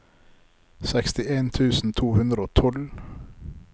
sekstien tusen to hundre og tolv